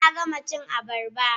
Na gama cin abarba.